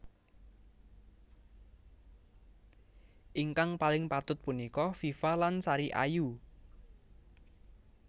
Ingkang paling patut punika Viva lan Sari Ayu